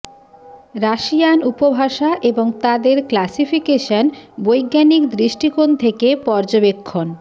Russian উপভাষা এবং তাদের ক্লাসিফিকেশন বৈজ্ঞানিক দৃষ্টিকোণ থেকে পর্যবেক্ষণ